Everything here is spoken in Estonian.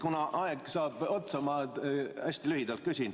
Kuna aeg saab otsa, siis ma küsin hästi lühidalt.